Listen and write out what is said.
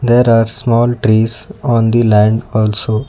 there are small trees on the land also.